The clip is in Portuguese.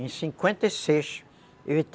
Em cinquenta e seis, eu entrei